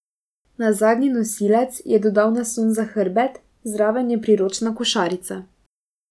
Na zadnji nosilec je dodal naslon za hrbet, zraven je priročna košarica.